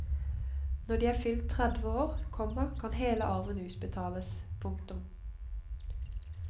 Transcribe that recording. Når de er fylt tredve år, komma kan hele arven utbetales. punktum